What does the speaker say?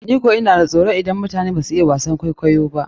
Ni kan ina da soron idon mutane, bazan iya wasan kwaikwayo ba.